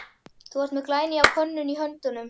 Þú ert með glænýja könnun í höndunum?